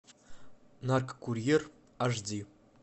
наркокурьер аш ди